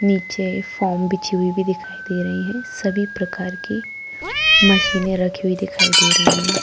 नीचे फोम बिछी हुई भी दिखाई दे रही है सभी प्रकार की मशीने रखी हुई भी दिखाई दे रही है।